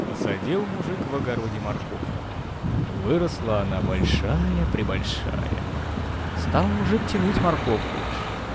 посадил мужик в огороде морковку выросла она большая-пребольшая стал мужик тянуть морковку